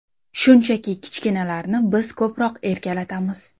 Shunchaki, kichkinalarni biz ko‘proq erkalatamiz.